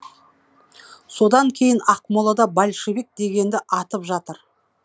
содан кейін ақмолада большевик дегенді атып жатыр